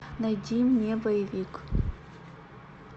найди мне боевик